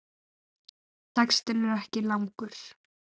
Textinn er ekki langur.